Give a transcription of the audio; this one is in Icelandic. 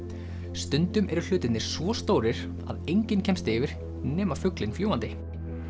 stundum eru hlutirnir svo stórir að enginn kemst yfir nema fuglinn fljúgandi